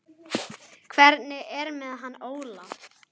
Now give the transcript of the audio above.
Hvernig er með hann Óla?